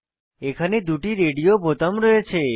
এখানে দুটি রেডিও বোতাম রয়েছে